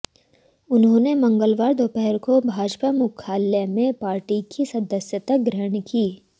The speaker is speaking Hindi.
उन्होंने मंगलवार दोपहर को भाजपा मुख्यालय में पार्टी की सदस्यता ग्रहण की